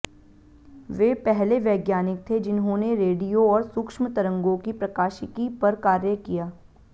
वे पहले वैज्ञानिक थे जिन्होंने रेडियो और सूक्ष्म तरंगों की प्रकाशिकी पर कार्य किया